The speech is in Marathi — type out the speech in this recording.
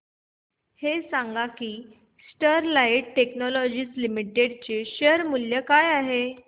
हे सांगा की स्टरलाइट टेक्नोलॉजीज लिमिटेड चे शेअर मूल्य काय आहे